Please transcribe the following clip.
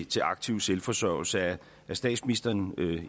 til aktiv selvforsørgelse er statsministeren